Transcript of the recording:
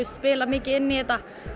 spila mikið inn í þetta